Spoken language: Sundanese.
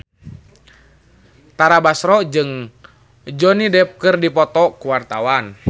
Tara Basro jeung Johnny Depp keur dipoto ku wartawan